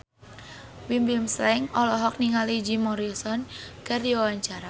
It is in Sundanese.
Bimbim Slank olohok ningali Jim Morrison keur diwawancara